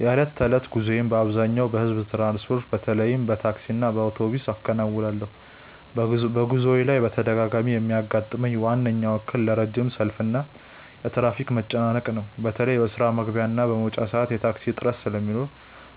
የዕለት ተዕለት ጉዞዬን በአብዛኛው በሕዝብ ትራንስፖርት፣ በተለይም በታክሲና በአውቶቡስ አከናውናለሁ። በጉዞዬ ላይ በተደጋጋሚ የሚያጋጥመኝ ዋናው እክል ረጅም ሰልፍና የትራፊክ መጨናነቅ ነው። በተለይ በስራ መግቢያና መውጫ ሰዓት የታክሲ እጥረት ስለሚኖር